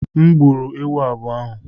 M gburu ewu abụọ ahụ.